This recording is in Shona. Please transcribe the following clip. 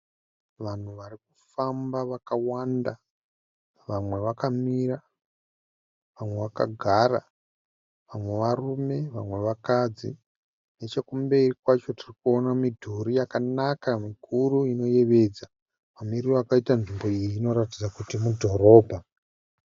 Vanhu varikufamba wakawanda vamwe vakamira vamwe vakagara vamwe varume vamwe vakadzi nechekumberi kwacho tirikuona midhuri mikuru inoyevedza nemumiriro vakaita nzvimbo iyi munoratidza kuti mudhorobha